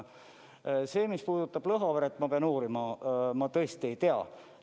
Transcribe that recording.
See, mis puudutab Lõhaveret, ma pean uurima, ma tõesti ei tea.